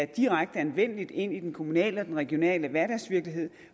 direkte anvendeligt i den kommunale og regionale hverdagsvirkelighed